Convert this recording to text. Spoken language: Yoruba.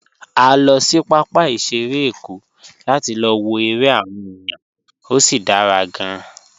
A lọ sí pápá ìṣeré Èkó láti lọ wo eré àwọn èèyàn, ó sì dára gan-an.